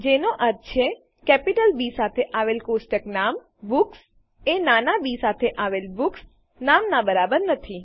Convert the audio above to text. જેનો અર્થ છે કેપિટલ બી સાથે આવેલ કોષ્ટક નામ બુક્સ એ નાના બી સાથે આવેલ બુક્સ નામનાં બરાબર નથી